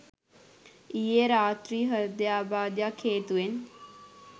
ඊයේ රාත්‍රි හෘදයාබාධයක් හේතුවෙන්